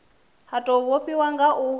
ha tou vhofhiwa nga u